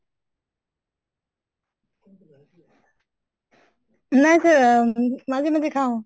নাই sir আহ মাজে মাজে খাওঁ